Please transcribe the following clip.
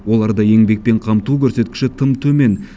оларды еңбекпен қамту көрсеткіші тым төмен